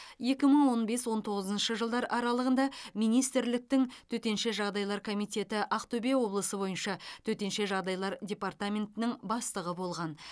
екі мың он бес он тоғызыншы жылдар аралығында министрліктің төтенше жағдайлар комитеті ақтөбе облысы бойынша төтенше жағдайлар департаментінің бастығы болған